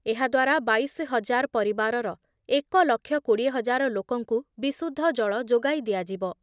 ଏହା ଦ୍ଵାରା ବାଇଶ ହଜାର ପରିବାରର ଏକ ଲକ୍ଷ କୋଡ଼ିଏ ହଜାର ଲୋକଙ୍କୁ ବିଶୁଦ୍ଧ ଜଳ ଯୋଗାଇ ଦିଆଯିବ ।